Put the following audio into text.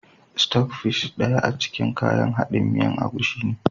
"Stock fish" daya a cikin kayan haɗin miyan agushi ne.